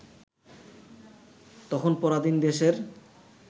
তখন পরাধীন দেশের